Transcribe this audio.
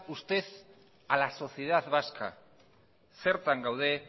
usted a la sociedad vasca zertan gaude